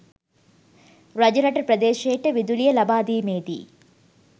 රජරට ප්‍රදේශයට විදුලිය ලබාදීමේදී